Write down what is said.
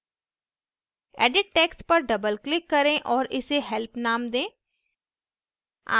edit text पर double click करें और इसे help नाम दें